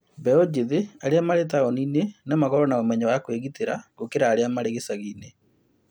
Mbeũ njĩthĩ arĩa marĩ taũni-inĩ nomakorũo na ũmenyo wa kũĩgitĩra gũkĩra arĩa marĩ icagi inĩ